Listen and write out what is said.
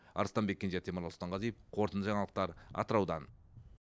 арыстанбек кенже темірлан сұлтанғазиев қорытынды жаңалықтар атыраудан